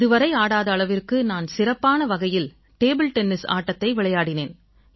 இதுவரை ஆடாத அளவுக்கு நான் சிறப்பான வகையில் டேபிள் டென்னிஸ் ஆட்டத்தை விளையாடினேன்